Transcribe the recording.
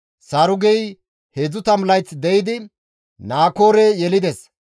Sarugey 30 layth de7idi Naakoore yelides;